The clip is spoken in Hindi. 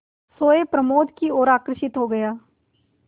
सोए प्रमोद की ओर आकर्षित हो गया